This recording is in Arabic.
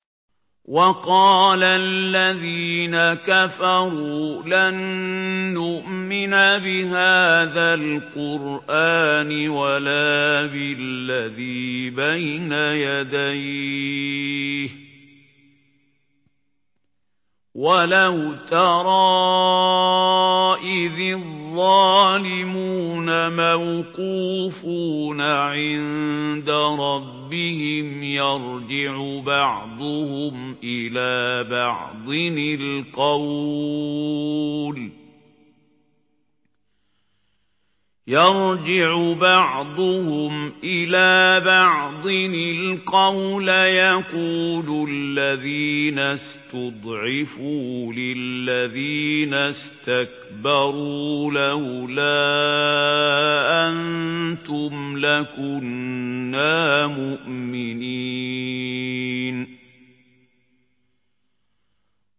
وَقَالَ الَّذِينَ كَفَرُوا لَن نُّؤْمِنَ بِهَٰذَا الْقُرْآنِ وَلَا بِالَّذِي بَيْنَ يَدَيْهِ ۗ وَلَوْ تَرَىٰ إِذِ الظَّالِمُونَ مَوْقُوفُونَ عِندَ رَبِّهِمْ يَرْجِعُ بَعْضُهُمْ إِلَىٰ بَعْضٍ الْقَوْلَ يَقُولُ الَّذِينَ اسْتُضْعِفُوا لِلَّذِينَ اسْتَكْبَرُوا لَوْلَا أَنتُمْ لَكُنَّا مُؤْمِنِينَ